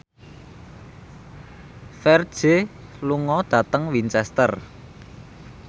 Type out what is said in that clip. Ferdge lunga dhateng Winchester